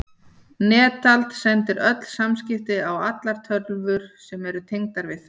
Netald sendir öll samskipti á allar tölvur sem eru tengdar við það.